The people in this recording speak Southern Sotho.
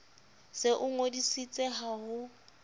se o ngodisitse ha ho